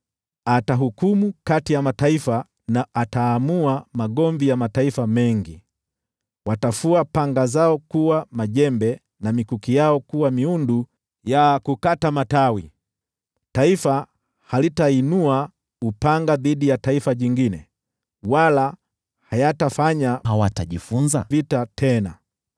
Atahukumu kati ya mataifa na ataamua migogoro ya mataifa mengi. Watafua panga zao ziwe majembe, na mikuki yao kuwa miundu ya kukata matawi. Taifa halitainua upanga dhidi ya taifa jingine, wala hawatajifunza vita tena.